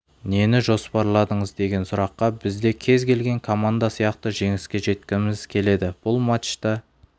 нені жоспарладыңыз деген сұраққа біз де кез келген команда сияқты жеңіске жеткізіміз келеді бұл матчта